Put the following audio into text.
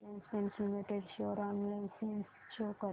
Asian paints limited share analysis show कर